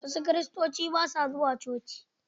Wasu Kiristocin ba su zuwa coci.